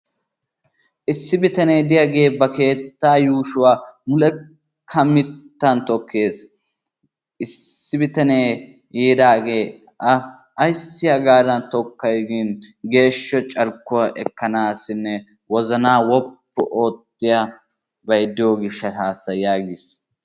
Issi bitanee de'iyagee ba keettaa yuushuwa mulekka mittaa tokkees. Issi bitanee yiidaagee A ayssi hagaadan tokkay giini geeshsha carkkuwa ekkanaassinne wozanaa woppu oottiyabay diyo gishshataassa yaagiis.